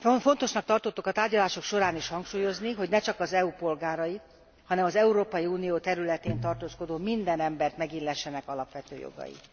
Fontosnak tartottuk a tárgyalások során is hangsúlyozni, hogy ne csak az EU polgárai, hanem az Európai Unió területén tartózkodó minden embert megillessenek alapvető jogai.